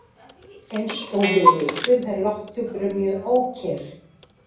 Eins og við vitum er lofthjúpurinn mjög ókyrr.